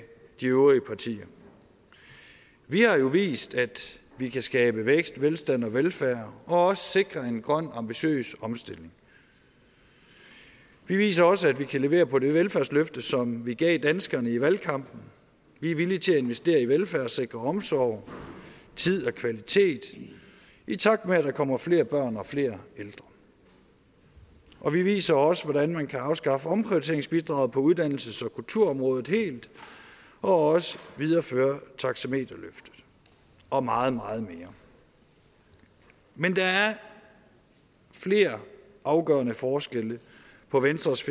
de øvrige partier vi har jo vist at vi kan skabe vækst velstand og velfærd og også sikre en grøn ambitiøs omstilling vi viser også at vi kan levere på det velfærdsløfte som vi gav danskerne i valgkampen vi er villige til at investere i velfærd sikre omsorg tid og kvalitet i takt med at der kommer flere børn og flere ældre og vi viser også hvordan man kan afskaffe omprioriteringsbidraget på uddannelses og kulturområdet helt og også videreføre taxameterløft og meget meget mere men der er flere afgørende forskelle på venstres